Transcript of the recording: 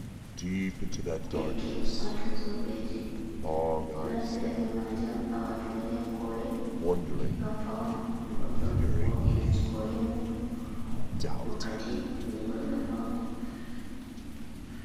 Pegge, waato zobeeji ɗo naftira bee maaje on haa waatugo ɗi haa kooli ngam fawna goɗɗo wo"ina kooli muuɗum wakkati nde goɗɗo fawni.